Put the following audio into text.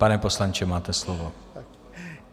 Pane poslanče, máte slovo.